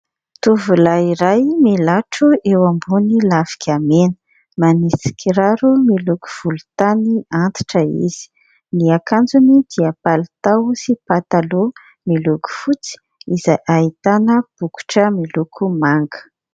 Tovolahy iray milatro eo ambony lafika mena, manisy kiraro miloko volontany antitra izy, ny akanjony dia palitao sy pataloha miloko fotsy izay ahitana bokotra miloko manga.